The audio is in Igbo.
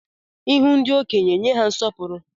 Ihu ndị okenye, nye ha nsọpụrụ